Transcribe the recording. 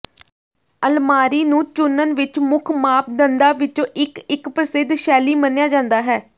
ਅਲਮਾਰੀ ਨੂੰ ਚੁਣਨ ਵਿੱਚ ਮੁੱਖ ਮਾਪਦੰਡਾਂ ਵਿੱਚੋਂ ਇੱਕ ਇੱਕ ਪ੍ਰਸਿੱਧ ਸ਼ੈਲੀ ਮੰਨਿਆ ਜਾਂਦਾ ਹੈ